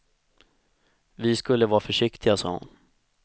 Vi skulle vara försiktiga, sa hon.